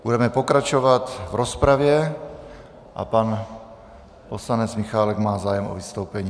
Budeme pokračovat v rozpravě a pan poslanec Michálek má zájem o vystoupení.